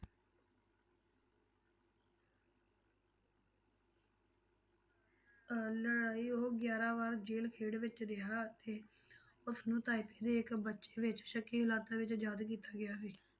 ਅਹ ਲੜਾਈ ਉਹ ਗਿਆਰਾਂ ਵਾਰ ਜ਼ੇਲ ਖੇਡ ਵਿੱਚ ਰਿਹਾ ਅਤੇ ਉਸਨੂੰ ਤਾਇਪੇ ਦੇ ਇੱਕ ਬੱਚੇ ਵਿੱਚ ਸ਼ੱਕੀ ਹਾਲਾਤਾਂ ਵਿੱਚ ਯਾਦ ਕੀਤਾ ਗਿਆ ਸੀ।